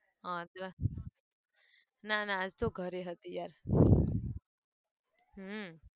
આટલે ના ના શું ઘરે હતી યાર હમ